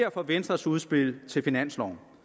for venstres udspil til finanslov